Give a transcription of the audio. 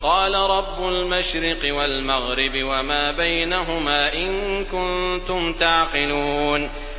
قَالَ رَبُّ الْمَشْرِقِ وَالْمَغْرِبِ وَمَا بَيْنَهُمَا ۖ إِن كُنتُمْ تَعْقِلُونَ